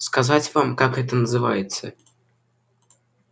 сказать вам как это называется